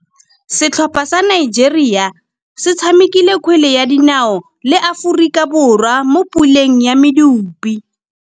Setlhopha sa Nigeria se tshamekile kgwele ya dinaô le Aforika Borwa mo puleng ya medupe.